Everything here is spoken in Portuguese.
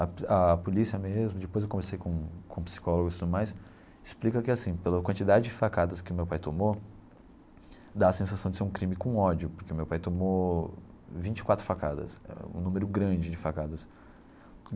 A a polícia mesmo, depois eu conversei com com psicólogos e tudo mais, explica que assim, pela quantidade de facadas que o meu pai tomou, dá a sensação de ser um crime com ódio, porque o meu pai tomou vinte e quatro facadas, um número grande de facadas.